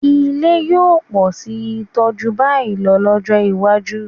Ilé yóò pọ̀ síi tó jù báyìí lọ lọ́jọ́ iwájú